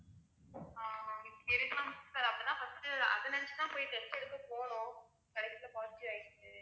ஆஹ் இருக்கலாம் sir அப்படித்தான் first உ அத நெனச்சு தான் போய் test எடுக்க போனோம் கடைசில positive ஆயிருச்சு